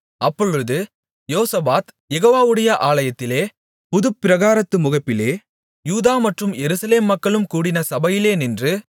அப்பொழுது யோசபாத் யெகோவாவுடைய ஆலயத்திலே புதுப்பிராகாரத்து முகப்பிலே யூதா மற்றும் எருசலேம் மக்களும் கூடின சபையிலே நின்று